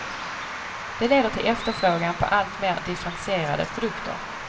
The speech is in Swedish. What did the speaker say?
Det leder till efterfrågan på alltmer differentierade produkter.